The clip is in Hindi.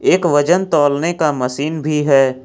एक वजन तौलने का मशीन भी है।